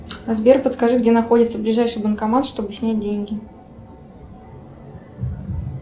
сбер подскажи где находится ближайший банкомат что бы снять деньги